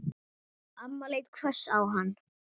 Amma leit hvöss á hann.